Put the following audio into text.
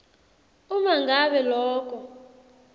uma ngabe loko